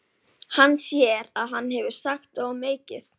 Hann sér að hann hefur sagt of mikið.